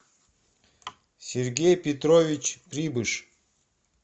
сергей петрович прибыш